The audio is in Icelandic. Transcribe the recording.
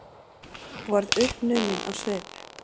Og varð uppnuminn á svip.